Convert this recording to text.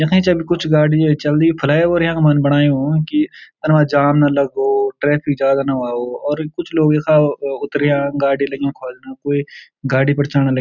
यखिं चल कुछ गाडी य चलदी फ्लाईओवर यखमन बणायो कि तन मा जाम न लगो ट्रैफिक जादा न हुवाओ और कुछ लोग यखा उतरया गाडी लगीं ख्वाल्नाखुयी गाड़ी पर चड़ना लग --